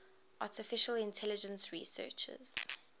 artificial intelligence researchers